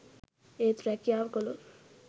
ඒත් රැකියාව කළොත්